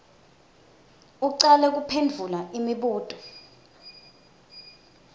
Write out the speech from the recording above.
ucale kuphendvula imibuto